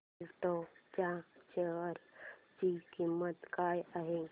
एल्डेको च्या शेअर ची किंमत काय आहे